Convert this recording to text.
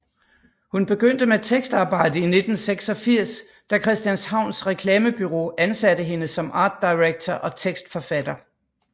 Hun begyndte med tekstarbejde i 1986 da Christianshavns Reklamebureau ansatte hende som art director og tekstforfatter